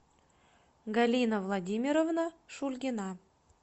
галина владимировна шульгина